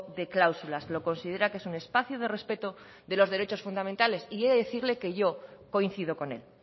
de cláusulas lo considera que es un espacio de respeto de los derechos fundamentales y he de decirle que yo coincido con él